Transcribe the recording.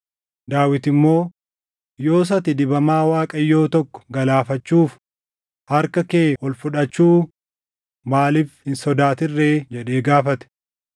Daawit immoo, “Yoos ati dibamaa Waaqayyoo tokko galaafachuuf harka kee ol fudhachuu maaliif hin sodaatin ree?” jedhee gaafate.